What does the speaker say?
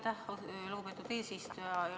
Aitäh, lugupeetud eesistuja!